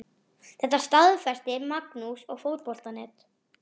Þetta staðfesti Magnús við Fótbolta.net.